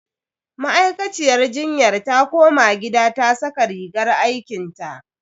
Ma'aikaciyar jinyar ta koma gida ta saka rigar aikinta.